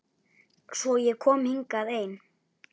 Svo ég kom hingað ein.